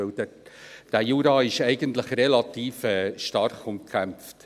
Denn der Jura ist eigentlich relativ stark umkämpft.